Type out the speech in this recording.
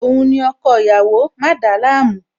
Òun ni ọkọ ìyàwó, má dàálàmú!